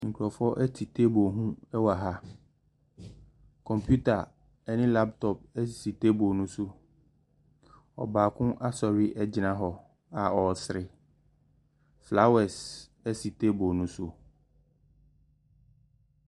Nkurɔfoɔ te table ho wɔ ha. Computer ne laptop si table no so. Ɔbaako asɔre agyina hɔ a ɔresere. Flowers si table no so.